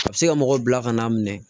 A bɛ se ka mɔgɔ bila ka n'a minɛ